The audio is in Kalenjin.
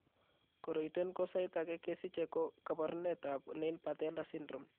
Koroiton ko saait ake kesiche ko kaboruneet ab nail patella syndrome